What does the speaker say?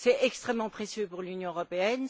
C'est extrêmement précieux pour l'Union européenne.